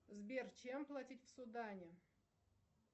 сбер чем платить в судане